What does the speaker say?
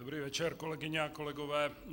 Dobrý večer, kolegyně a kolegové.